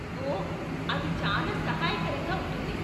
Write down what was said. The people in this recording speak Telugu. ఓహ్, అది చాలా సహాయకరంగా ఉంటుంది.